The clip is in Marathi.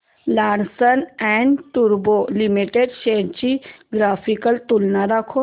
लार्सन अँड टुर्बो लिमिटेड शेअर्स ची ग्राफिकल तुलना दाखव